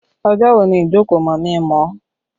Ọjọ́ wo ni ìjókòó mọ̀mí-n-mọ̀-ọ́?